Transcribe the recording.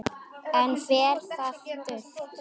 Enn fer það dult